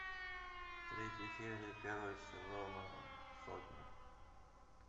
третья серия первого сезона сотня